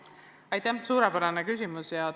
Aitäh, suurepärane küsimus!